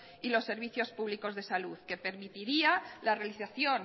y los servicios públicos de salud que permitiría la realización